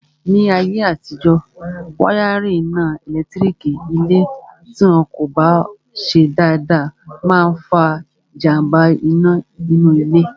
Ní ayé àtijọ́, wáyárìn iná ẹ̀lẹ́tírík ilé tí wọn kò bá ṣe dáadáa máa n fa jàmbá iná nínú ilé